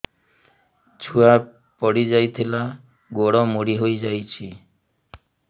ଛୁଆ ପଡିଯାଇଥିଲା ଗୋଡ ମୋଡ଼ି ହୋଇଯାଇଛି